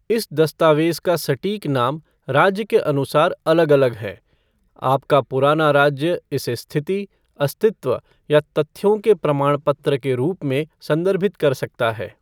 इस दस्तावेज़ का सटीक नाम राज्य के अनुसार अलग अलग हैं, आपका पुराना राज्य इसे स्थिति, अस्तित्व या तथ्यों के प्रमाण पत्र के रूप में संदर्भित कर सकता है।